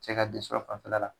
Cɛ ka fanfɛla la